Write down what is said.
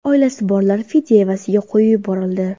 Oilasi borlar fidya evaziga qo‘yib yuborildi.